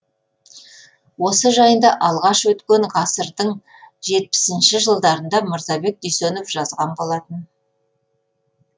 осы жайында алғаш өткен ғасырдың жетпісінші жылдарында мырзабек дүйсенов жазған болатын